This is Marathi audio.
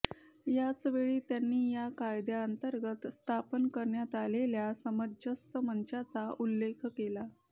याचवेळी त्यांनी या कायद्याअंतर्गत स्थापन करण्यात आलेल्या सामंजस्य मंचाचा उल्लेख केला